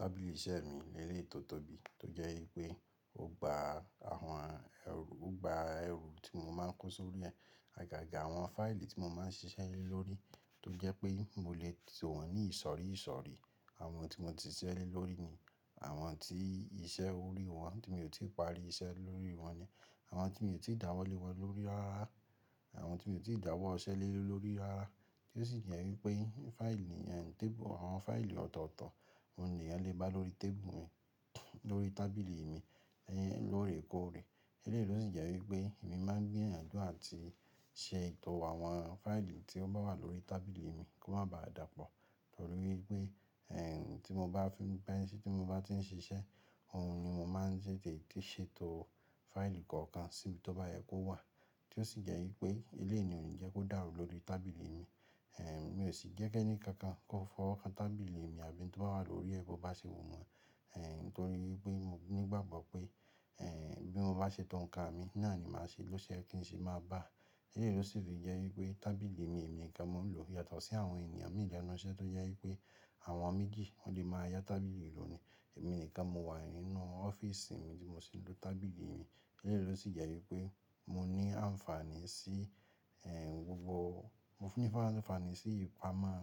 Tábìlì iṣẹ́ mi lérè tó tóbi tó jẹ́ pé ó gba àwọn ẹrù, ó gba ẹrù tí mo máa ń kó sórí rẹ̀, àgàgà àwọn fáìlì tí mo máa ń ṣiṣẹ́ lórí tó jẹ́ pé mo lè tì wọ́n ní ìsọ̀rí ìsọ̀rí. Àwọn tí mo ti ṣẹ́ lórí ni, àwọn tí iṣẹ́ ò rí wọ́n tí mi ò tíì parí iṣẹ́ lórí wọ́n ni, àwọn tí mi ò tíì dáwọ́ lé wọ́n lórí rárá, àwọn tí mi ò tí ì dáwọ́ ṣẹ́ lórí rárá. Ti o si je wípé àwọn fáìlì ọ̀tọ̀ọ̀tọ̀ oun ni ènìyàn le ba lórí tábìlì mi lorekore. Elẹ́yi ló sì jẹ́ wípé èmi máa ń gbìyànjú àti ṣe etọ̀ àwọn fáìlì tí ó bá wà lórí tábìlì mi kó má ba à dàpọ̀. Torí wípé ti mon bati n sise oun ni mo ma n ṣètò fáìlì kokan sibi to baye ki owa tí ó sì jẹ́ wípé ilé ènìyàn jẹ kó dàrú lórí tábìlì mi. Ẹ̀n mi ò sì jẹ́ kí ẹni kankan kó fọwọ́ kan tábìlì mi àbí tí ó bá wà lórí ẹ kó bá ṣe wu won. Ẹ̀ nítorí wípé mo nígbàgbọ́ pé, ẹ́ bí mo bá ṣètò nǹkan mi náà ni màá ṣe lọ́se ye kín ṣe máa bá. Elẹ́yẹ̀ ló sì fi jẹ́ wípé tábìlì mi èmi nìkan mo ń lò yàtọ̀ sí àwọn ènìyàn mìíràn lọ́nà iṣẹ́ tó jẹ́ wípé àwọn méjì wọ́n lè máa yá tábìlì ìlú ni. Emi nìkan mo wa nínú ofisi mi tin mo sin lo tábìlì. Elẹ́yẹ̀ ló sì jẹ́ wípé mo ní àǹfààní sí, ẹ́ gbogbo, mo fún ni fán-àǹfààní sí ìpamọ́,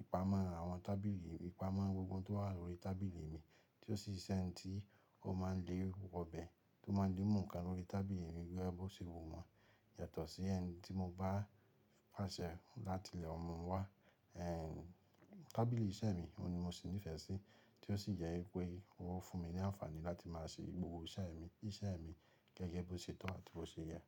ìpamọ́ àwọn tábìlì, ìpamọ́ gbogbo ohun tó wà lórí tábìlì mi. Tí ó sì ṣẹ́ni tí ó máa ń lé wobẹ̀ tó máa ń lé mòǹkan lórí tábìlì mi gẹ́gẹ́ bí ó ṣe wù wọ́n. Yàtọ̀ sí ẹ́ni tí mo bá pàṣẹ láti lo mu wá. Ẹ̀ n tábìlì iṣẹ́ mi òun ni mo sì nífẹ̀ẹ́ sí. Tí ó sì jẹ́ wípé ó fún mi ní àǹfààní láti máa ṣe gbogbo iṣẹ́ mi, iṣẹ́ mi gẹ́gẹ́ bí ó ṣe tọ́ àti bí ó ṣe yẹ.